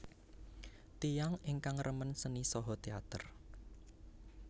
Tiyang ingkang remen seni saha teater